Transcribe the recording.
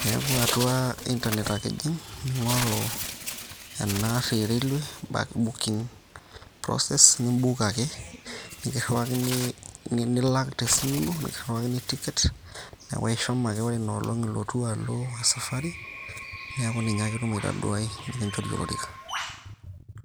Niaku atua internet ake ijing ning`oru ena arri e railways, back booking process ni book ake nikirriwakini, nilak te simu ino nikirriwakini ticket. Niaku ishomo ake ore ina olong ilotu alo e sapari neaku ninye ake itum aitoduai nikinchori olorika.